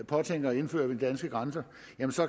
påtænkes indført ved de danske grænser